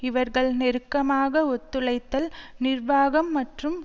இவர்கள் நெருக்கமாக ஒத்துழைத்தல் நிர்வாகம் மற்றும்